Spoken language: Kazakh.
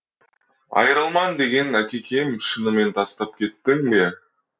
айрылман деген әкекем шынымен тастап кеттің бе